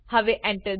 હવે Enter